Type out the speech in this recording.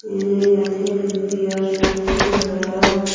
एने हइ अथि पियर से अथि हइ करल --